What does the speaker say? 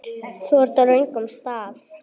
Þú ert á röngum stað